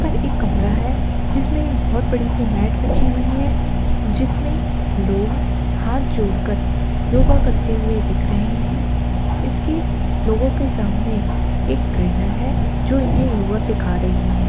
पर एक कमरा है जिसमे बहुत बड़ी सी मेट बिछी हुई है जिसमे लोग हाथ जोड़कर कर योग करते हुए दिख रहे है इसके लोगों के सामने एक ट्रैनर है जो इन्हे योग सीखा रही हैं।